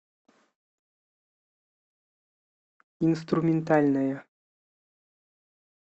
инструментальная